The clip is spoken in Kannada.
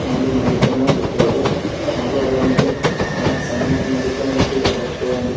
ಒಂದು ಮೆಡಿಕಲ್ನ ಚಿತ್ರ ಇದೆ ಹಾಗು ಅದರ ಮೇಲೆ ಮೇ ಸಾಯಿನಾಥ್ ಮೆಡಿಕಲ್ ಮತ್ತು ಜೆನರಲ್ ಸ್ಟೋರ್ ಎಂದು ಬ --